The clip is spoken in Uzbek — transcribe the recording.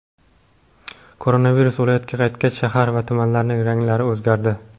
Koronavirus viloyatga qaytgach , shahar va tumanlarning ranglari o‘zgardi .